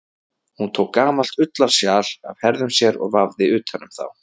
Hún tók gamalt ullarsjal af herðum sér og vafði utan um þá.